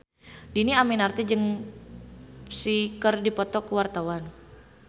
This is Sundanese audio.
Dhini Aminarti jeung Psy keur dipoto ku wartawan